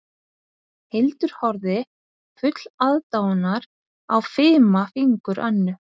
Hildur horfði full aðdáunar á fima fingur Önnu